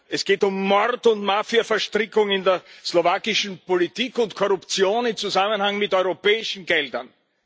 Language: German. Es geht um Mord und Mafiaverstrickungen in der slowakischen Politik und um Korruption im Zusammenhang mit europäischen Geldern.